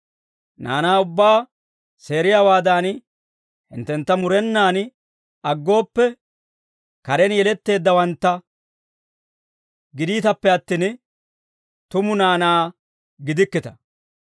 Naanaa ubbaa seeriyaawaadan, hinttentta murenaan aggooppe, karen yeletteeddawantta gidiitappe attin, tumu naanaa gidikkita.